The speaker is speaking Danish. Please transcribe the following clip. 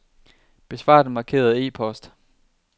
Besvar den markerede e-post.